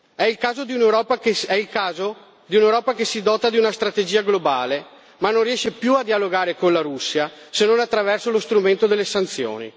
È il caso di un'Europa che si dota di una strategia globale ma non riesce più a dialogare con la Russia, se non attraverso lo strumento delle sanzioni.